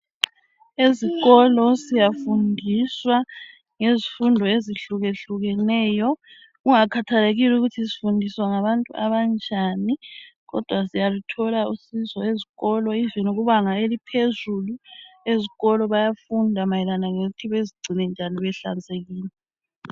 Ezikolo siyafundiswa ngezifundo ezihlukahlukeneyo kungakhathelekile ukuthi sifundiswa ngabantu abanjani kodwa siyaluthola usizo ezikolo ivini kubanga eliphezulu ezikolo bayafunda mayelana lokuthi bezigcine njani behlanzekile.